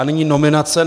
A nyní nominace.